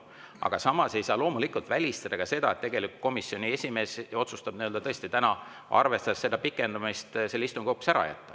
Aga samas ei saa loomulikult välistada, et komisjoni esimees otsustab tõesti täna, arvestades seda pikendamist, komisjoni istungi hoopis ära jätta.